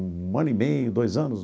Um ano e meio, dois anos.